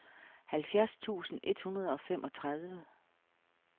halvfjerds tusind et hundrede og femogtredive